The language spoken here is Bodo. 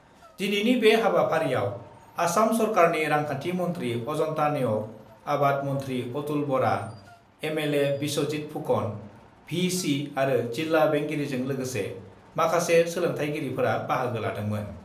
दिनैनि बे हाबाफारिआव आसाम सरकारनि रांखान्थि मन्थ्रि अजन्ता नेउग, आबाद मन्थ्रि अतुल बरा, एमएलए बिस्वजित फुकन, भि.सि. आरो जिल्ला बेंगिरिजों लोगोसे माखासे सोलोंथायगिरिफोरा बाहागो लादोंमोन।